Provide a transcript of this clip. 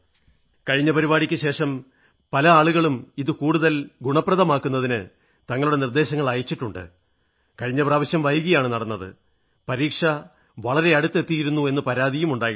കഴിഞ്ഞ പരിപാടിക്കു ശേഷം പല ആളുകളും ഇത് കൂടുതൽ ഗുണവത്താക്കുന്നതിന് തങ്ങളുടെ നിർദ്ദേശങ്ങൾ അയച്ചിട്ടുണ്ട് കഴിഞ്ഞ പ്രാവശ്യം വൈകിയാണു നടന്നത് പരീക്ഷ വളരെ അടുത്ത് എത്തിയിരുന്നു എന്ന് പരാതികളും അയച്ചിട്ടുണ്ട്